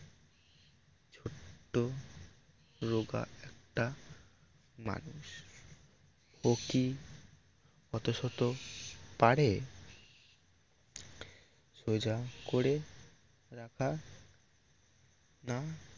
রোগা একটা মানুষ ওকি অতো সতো পারে সোজা করে রাখা আনা